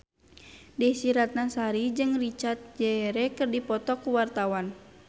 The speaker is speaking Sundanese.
Desy Ratnasari jeung Richard Gere keur dipoto ku wartawan